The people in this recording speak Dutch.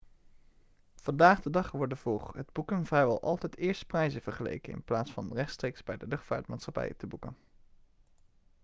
vandaag de dag worden voor het boeken vrijwel altijd eerst prijzen vergeleken in plaats van rechtstreeks bij de luchtvaartmaatschappij te boeken